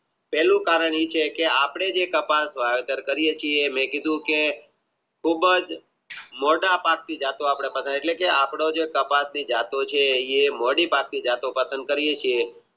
પહેલું કારણ એ છે કે આપણે જે કપાસ વાવીયા મેં કલીધું કે ખુબ જ મોટા ભાગ ની એટલે કે જે આપણે કપાસી જતો એ મોદી ભાગની જતો પસંદ કરીયે છીએ